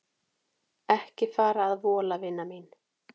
Ekki fara að vola vina mín.